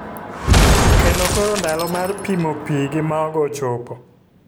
kendo koro ndalo mar pimo pii gi mogo ochopo.